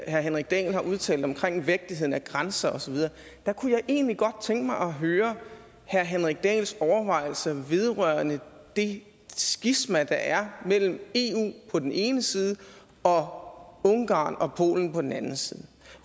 herre henrik dahl har udtalt omkring vigtigheden af grænser osv kunne jeg egentlig godt tænke mig at høre herre henrik dahls overvejelser vedrørende det skisma der er mellem eu på den ene side og ungarn og polen på den anden side